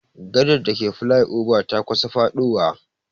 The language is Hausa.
Gadar dake flai oba ta kusa faɗowa.